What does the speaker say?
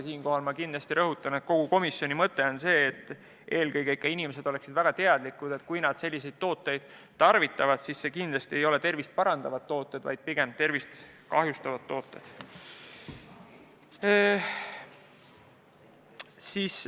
Siinkohal ma rõhutan, et komisjoni seisukoht on see, et eelkõige ikka inimesed oleksid väga teadlikud, et kui nad selliseid tooteid tarvitavad, siis need kindlasti ei ole tervist parandavad tooted, vaid pigem tervist kahjustavad tooted.